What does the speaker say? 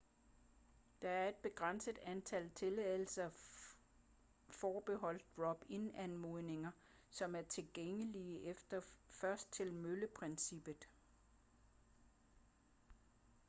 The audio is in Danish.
der er et begrænset antal tilladelser forbeholdt drop-in anmodninger som er tilgængelige efter først-til-mølle-princippet